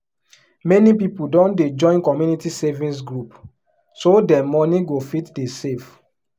many people don dey join community savings group so dem money go fit dey save